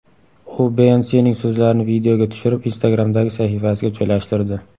U Beyonsening so‘zlarini videoga tushirib, Instagram’dagi sahifasiga joylashtirdi.